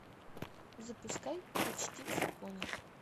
запускай почти в законе